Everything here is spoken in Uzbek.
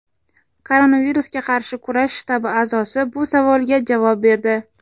Koronavirusga qarshi kurash shtabi a’zosi bu savolga javob berdi.